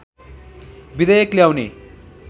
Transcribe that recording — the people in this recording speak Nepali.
विधेयक ल्याउने